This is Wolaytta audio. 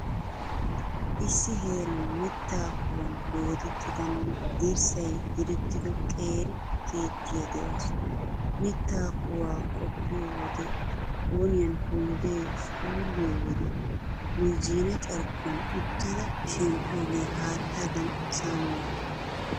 Issi heeran mittaa kuwan doodettidanne dirssay direttido qeeri keettiyaa de'awusu. Mittaa kuwaa qoppiyo wode boniyan hombbee suulliyo wode noozhzhiina carkkuwan uttida shemppiyoogee haattaadan saammiyaaba.